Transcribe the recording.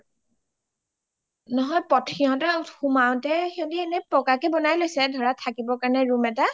ঘৰ নহয় সিহতৰ সোমাওতে সিহতি এনে পকাকে বনাই লৈছে ধৰা থাকিব কাৰণে ৰুম এটা